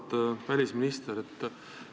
Auväärt välisminister!